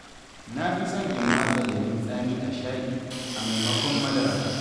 Na fi son in matsa lemon tsami a shayi, a maimakon madara.